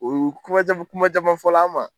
U ye kuma caman kuman caman fɔ ma